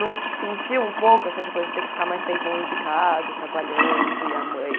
Não sentia um pouco essa coisa de ter que ficar mais tempo longe de casa, trabalhando, e a mãe...